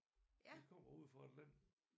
De kommer ude fra Atlanten